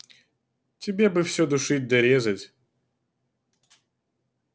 тебе бы все душить да резать